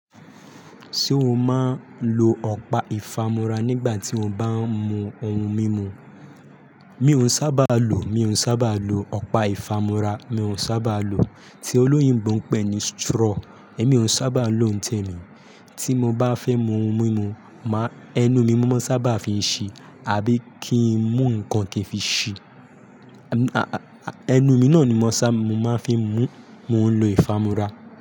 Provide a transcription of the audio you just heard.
Ṣé o máa ń lo ọ̀pá ìfámúra nígbà tí o bá ń mu ohun mímu? Mi ò sábà lo, mi ò sábà lo ọ̀pá ìfámúra, mi ò sábà lo. Tí olóyinbọ̀ ń pè é ní straw, èmi ò sábà lo ń tẹ̀mi. Tí mo bá fẹ́ mu ohun mímu, máa ẹnu mi mó maa n sábà fi ṣí àbí kí ń mu ǹnkan kì n fi ṣí.m-- aa Ẹnu mi náà ni mó sábà, mo máa ń fi ń mu. Mo ń lo ìfámúra.